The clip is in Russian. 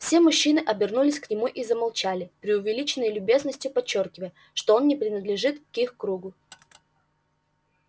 все мужчины обернулись к нему и замолчали преувеличенной любезностью подчёркивая что он не принадлежит к их кругу